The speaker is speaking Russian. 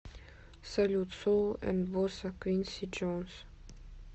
салют соул энд босса квинси джонс